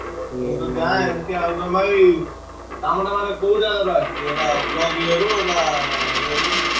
କାମ ଟା ମାନେ କୋଉ ଯାଗାରୁ ଆସିଛି ମାନେ ଏଇଟା block ଏ ରୁ ନାଁ ।